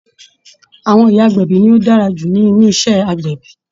Àwọn ìyá agbẹ̀bí ni ó dára jù nínú iṣẹ́ agbẹ̀bí